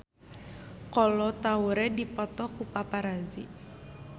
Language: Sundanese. Kolo Taure dipoto ku paparazi